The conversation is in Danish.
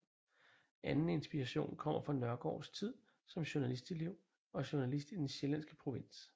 Anden inspiration kommer fra Nørgaards tid som journalistelev og journalist i den sjællandske provins